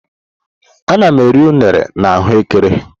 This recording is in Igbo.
Ana m eri unere na ahu ekere.